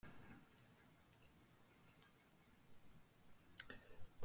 Við karlmennirnir verðum að standa saman.